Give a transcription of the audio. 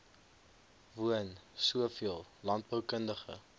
woon soveel landboukundige